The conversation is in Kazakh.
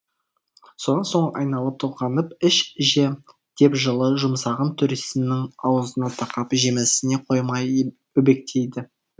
содан соң айналып толғанып іш же деп жылы жұмсағын төресінің аузына тақап жемесіне қоймай өбектейді